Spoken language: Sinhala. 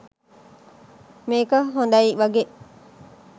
මේක හොඳයි වගේ.